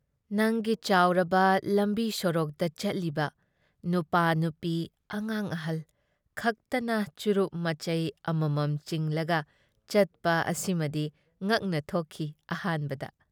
ꯅꯪꯒꯤ ꯆꯥꯎꯔꯕ ꯂꯝꯕꯤ-ꯁꯣꯔꯣꯛꯇ ꯆꯠꯂꯤꯕ ꯅꯨꯄꯥ-ꯅꯨꯄꯤ ꯑꯉꯥꯡꯑꯍꯜ ꯈꯛꯇꯅ ꯆꯨꯔꯨꯞ ꯃꯆꯩ ꯑꯃꯃꯝ ꯆꯤꯡꯂꯒ ꯆꯠꯄ ꯑꯁꯤꯃꯗꯤ ꯉꯛꯅ ꯊꯣꯛꯈꯤ ꯑꯍꯥꯟꯕꯗ ꯫